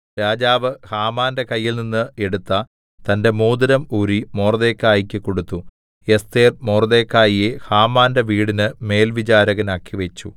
രാജാവ് ഹാമാന്റെ കയ്യിൽനിന്ന് എടുത്ത തന്റെ മോതിരം ഊരി മൊർദെഖായിക്ക് കൊടുത്തു എസ്ഥേർ മൊർദെഖായിയെ ഹാമാന്റെ വീടിന് മേൽവിചാരകനാക്കിവച്ചു